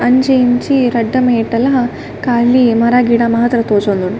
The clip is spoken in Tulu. ಅಂಚಿ ಇಂಚಿ ರಡ್ಡ ಮೈಟಲ ಕಾಲಿ ಮರ ಗಿಡ ಮಾತ್ರ ತೋಜೊಂದುಂಡು.